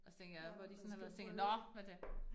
Og så tænker jeg, hvor de sådan har været så tænker nåh nu det